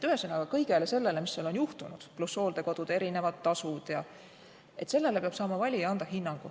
Ühesõnaga, kõigele sellele, mis on juhtunud, pluss hooldekodude erinevad tasud jne, peab valija saama anda hinnangu.